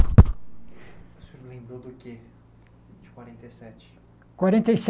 O senhor lembrou do quê, de quarenta e sete? Quarenta e